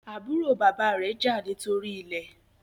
àbúrò bàbá rẹ jà nítorí ilè